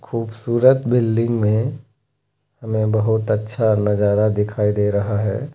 खूबसूरत बिल्डिंग में हमें बहुत अच्छा नजारा दिखाई दे रहा है।